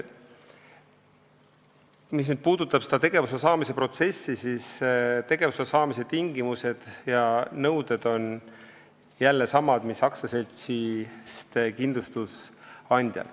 Mis puudutab tegevusloa saamise protsessi, siis tegevusloa saamise tingimused ja nõuded on jälle samad mis aktsiaseltsist kindlustusandjal.